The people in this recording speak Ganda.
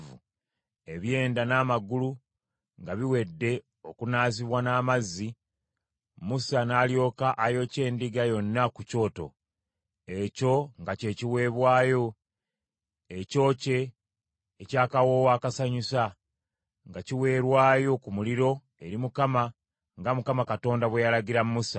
Ebyenda n’amagulu nga biwedde okunaazibwa n’amazzi, Musa n’alyoka ayokya endiga yonna ku kyoto. Ekyo nga kye kiweebwayo ekyokye eky’akawoowo akasanyusa, nga kiweerwayo ku muliro eri Mukama , nga Mukama Katonda bwe yalagira Musa.